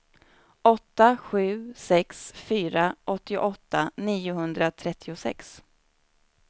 åtta sju sex fyra åttioåtta niohundratrettiosex